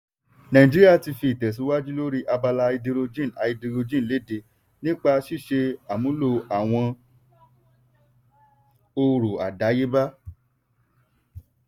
nàìjíríà ti fi ìtẹ̀síwájú lóri abala háídírójìn háídírójìn léde nípa ṣíṣe àmúlo àwọn ọrọ̀ àdáyébá.